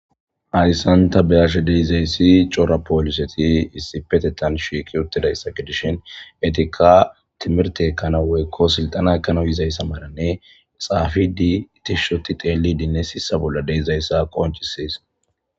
Haysan ba be'iyays cora poliset issipetetan shiiqet utidaysa gidishn etika timirte ekana woyko silxena ekanaw yizaysa malabe xafid tishot xelidene sisa bola dizaysa qoncises.